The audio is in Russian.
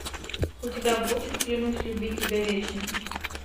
у тебя будет клянусь любить тебя вечно